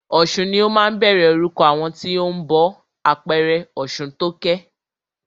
Ọ̀sun ni ó máa ń bẹ̀rẹ̀ orúkọ àwọn tí o ń bọ ọ̀ṣun, àpẹẹrẹ Ọ̀ṣuntókẹ́.